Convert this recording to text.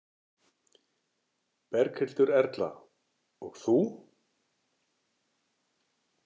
Berghildur Erla: Og þú?